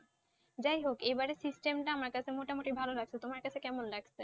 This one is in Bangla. যাই হোক এবারের system টা আমার কাছে মোটামুটি ভালো লাগছে। তোমার কাছে কেমন লাগছে?